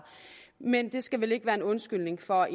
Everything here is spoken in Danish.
men det skal vel ikke være en undskyldning for